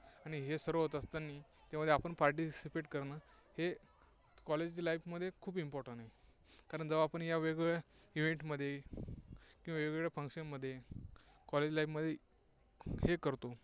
आणि हे सर्व होत असतानी आपण participate करणं हे College life मध्ये खूप Important कारण या वेगवेगळ्या event मध्ये किंवा वेगवेगळ्या Function मध्ये College life मध्ये हे करतो.